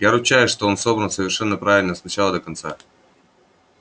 я ручаюсь что он собран совершенно правильно с начала до конца